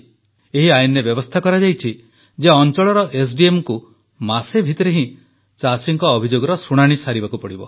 ଏହି ଆଇନରେ ବ୍ୟବସ୍ଥା କରାଯାଇଛି ଯେ ଅଂଚଳର ଏସଡିଏମଡିକୁ ମାସେ ଭିତରେ ହିଁ ଚାଷୀଙ୍କ ଅଭିଯୋଗର ଶୁଣାଣି କରିବାକୁ ହେବ